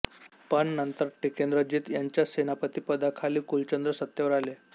पण नंतर टिकेंद्रजीत यांच्या सेनापतीपदाखाली कुलचंद्र सत्तेवर आले